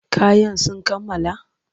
Kayan sun kammala?